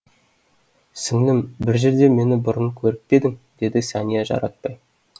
сіңлім бір жерде мені бұрын көріп пе едің деді сәния жаратпай